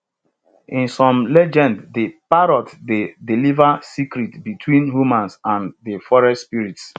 in some legends de parrot dey deliver secrets between humans and de forest spirits